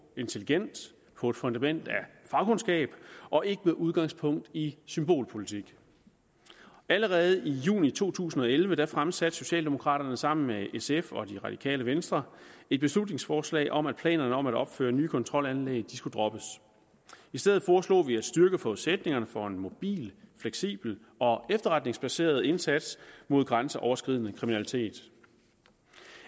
intelligent på et fundament af fagkundskab og ikke med udgangspunkt i symbolpolitik allerede i juni to tusind og elleve fremsatte socialdemokraterne sammen med sf og det radikale venstre et beslutningsforslag om at planerne om at opføre nye kontrolanlæg skulle droppes i stedet foreslog vi at styrke forudsætningerne for en mobil fleksibel og efterretningsbaseret indsats mod grænseoverskridende kriminalitet